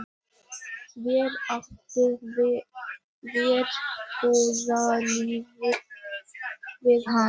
Verr átti verbúðarlífið við hann.